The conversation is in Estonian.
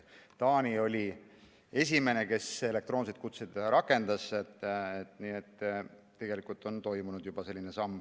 Taani oli esimene, kes elektroonseid kutseid rakendas, nii et tegelikult on selline samm juba toimunud.